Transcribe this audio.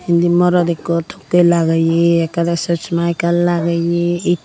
indi morot ekko tokkey lageye ekke dw sosma ekkan lageye eddu.